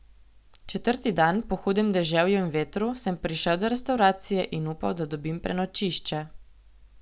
Četrti dan, po hudem deževju in vetru, sem prišel do restavracije in upal, da dobim prenočišče.